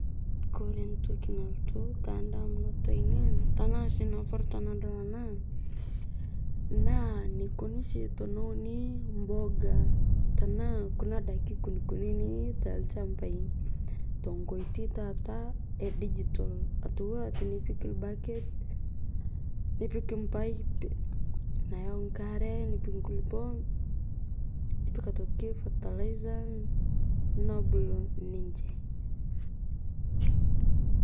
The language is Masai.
Kore ntokii nalotuu te ndamunot enien tana sii napaaru tana dool ana naa neukoni shii tene uuni mbogaa tana kuna ndaaki nkunini te lchambai, to nkotei tataa e dijital atua tinipiik ilbaket, nipiik mbaiip nayau nkaare, nipiik nkulupoo, nipiik aitokii fertilizer nobuluu ninchee.